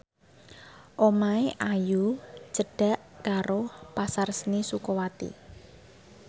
omahe Ayu cedhak karo Pasar Seni Sukawati